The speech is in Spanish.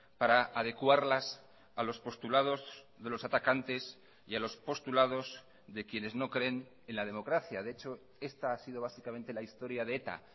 para adecuarlas a los postulados de los atacantes y a los postulados de quienes no creen en la democracia de hecho esta ha sido básicamente la historia de eta